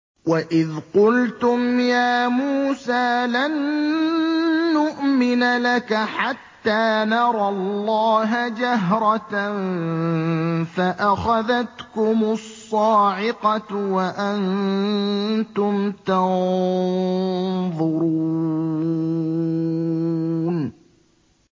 وَإِذْ قُلْتُمْ يَا مُوسَىٰ لَن نُّؤْمِنَ لَكَ حَتَّىٰ نَرَى اللَّهَ جَهْرَةً فَأَخَذَتْكُمُ الصَّاعِقَةُ وَأَنتُمْ تَنظُرُونَ